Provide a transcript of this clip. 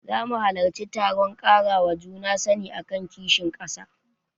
Zama halarci taron ƙarawa juna sani akan kishin ƙasa.